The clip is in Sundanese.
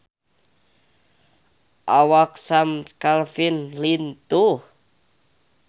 Awak Sam Claflin lintuh